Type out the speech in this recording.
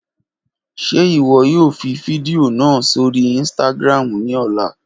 Ṣe iwọ yoo fi fidio naa sori Instagram ni ọla?